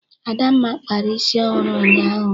Adamma kpara isi ọhụrụ ụnyaahụ.